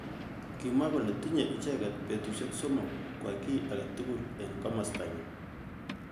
Kimwa kole tinyei icheket betushek somok. kwai ki age tugul eng kimosta nywa.